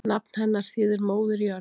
Nafn hennar þýðir móðir jörð.